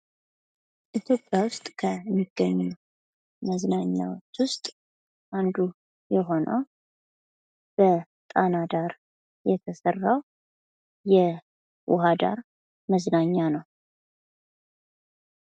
ኢትዮጵያ እስከሚገኙ መዝናኛዎቹ ውስጥ አንዱ የሆነው ጣና ዳር የውሃ ዳር የተሰራ መዝናኛ ነው።